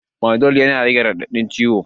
Fanadol yana rage raɗaɗin ciwo